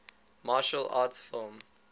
martial arts film